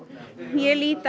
ég lít